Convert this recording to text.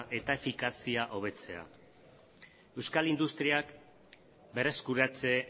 eta efikazia hobetzea euskal industriak berreskuratze